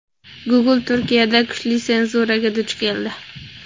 Google Turkiyada kuchli senzuraga duch keldi.